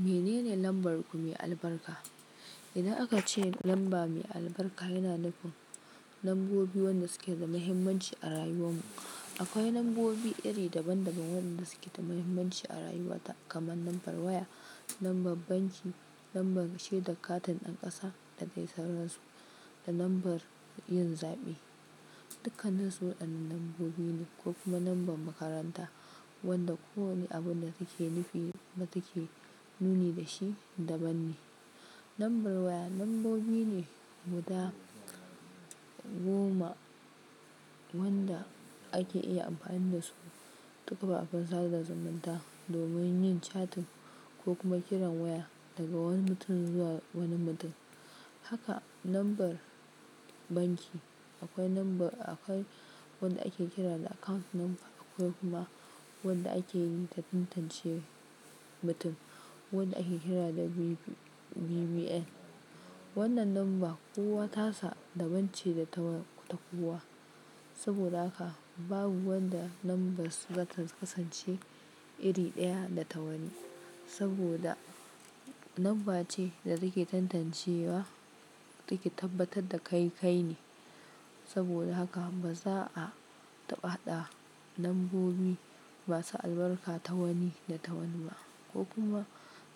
Menene lambar mai albarka? Idan aka ce lamba mai albarka yana nufin lambobi wanda suke da muhimmanci a rayuwar mu. Akwai lambobi iri daban-daban waɗanda suke da muhimmanci a rayuwa ta kamar lambar waya, lambar banki, lambar shaidar katin ɗan ƙasa da dai sauransu da lambar yin zaɓe. Dukanninsu waɗanne lambobi ne ko kuma lambar makaranta wanda kowane abun da suke nufi wata ke nuni da shi daban ne. Lambar waya lambobi ne guda goma wanda ake iya amfani da su ta kafafen sada zumunta domin yin catin ko kuma kiran waya daga wani mutum zuwa wani mutum. Haka lambar banki akwai lambar akwai wanda ake kira da account number kuma wanda ake yi ta tantancewa mutum, wanda ake kira da BVN. Wannan lamba kowa tasa daban ce ta kowa saboda haka babu wanda lambar su za ta kasance iri ɗaya da ta wani. Saboda lambar ce da suke tantancewa suke tabbatar da kai kai ne. Saboda haka ba za a taɓa haɗa lambobi masu albarka ta wani da tawani ba ko kuma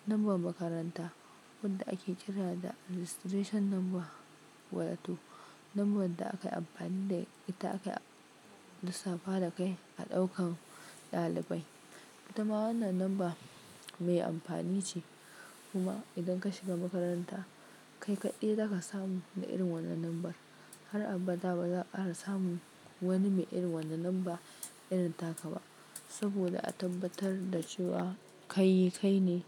lambar makaranta wanda ake kira da registration number wato. Lambar da aka yi amfani da ita aka lissafa da kai a ɗaukan ɗalibai. Ita ma wannan lamba mai amfani ce kuma idan ka shiga makaranta kai kaɗai zaka samu na irin wannan lambar. Har abada ba za a ƙara samun wani mai irin wannan lamba irin ta ka ba saboda a tabbatar da cewa kai kai ne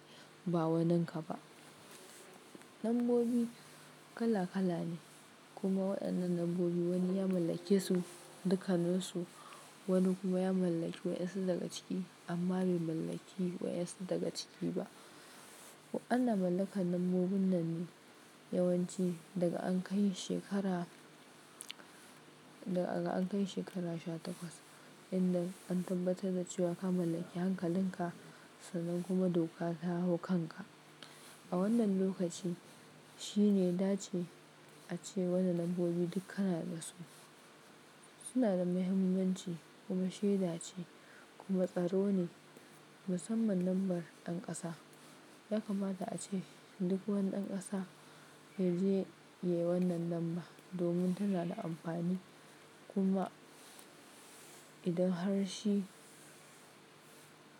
ba wanin ka ba. Lambobi kala kala ne kuma waɗannan lambobi wani ya mallake su dukkanninsu, wani kuma ya mallaki wa'insu daga ciki amma bai mallaki wa'insu daga ciki ba. Wa'innan na mallakar lambobin nan ne yawanci daga an kai shekara, daga an kai shekara sha takwas inda an tabbatar da cewa ka mallaki hankalin ka sannan kuma doka ta hau kanka. A wannan lokaci shi ne da ya ce ace wannan lambobi duk kana da su. Suna da muhimmanci kuma shaida ce kuma tsaro ne musamman lambar ɗan ƙasa. Ya kamata ace duk wani ɗan ƙasa ya je ya yi wannan lamba domin tana da amfani kuma idan har shi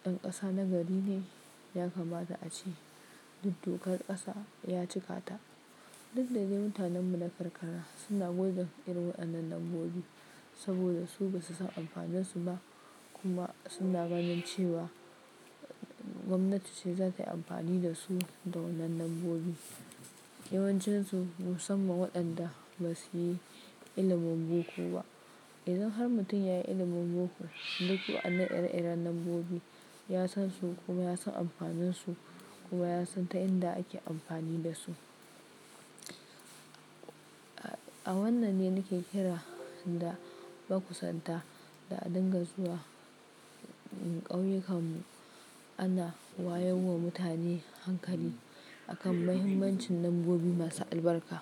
ɗan ƙasa na gari ne yakamata ace duk dokar ƙasa ya cika ta. Duk da dai mutanen mu na karkara suna goge irin waɗannan lambobi saboda su ba su san amfanin su ba kuma suna ganin cewa gwamnati ce za ta yi amfani da su da wannan lambobi. Yawancinsu musamman waɗanda ba su yi ilimin boko ba. Idan har mutum ya yi ilimin boko duk waɗannan ire-iren lambobi ya san su kuma ya san amfanin su kuma ya san ta inda ake amfani da su. A wannan ne nike kira da makusanta da a dinga zuwa ƙauyukan mu ana wayar wa mutane hankali akan muhimmancin lambobi masu albarka.